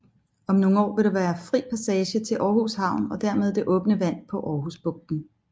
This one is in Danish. Om nogle år vil der være fri passage til Aarhus Havn og dermed det åbne vand på Aarhus bugten